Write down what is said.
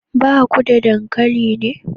Ba ku da dankali ne?